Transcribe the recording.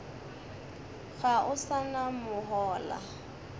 ga o sa na mohola